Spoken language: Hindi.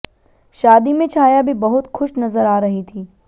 शादी में छाया भी बहुत खुश नजर आ रही थी